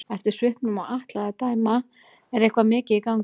Eftir svipnum á Atla að dæma er eitthvað mikið í gangi.